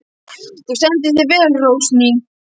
Þú stendur þig vel, Rósný!